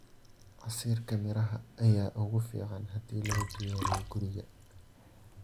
Casiirka miraha ayaa ugu fiican haddii lagu diyaariyo guriga.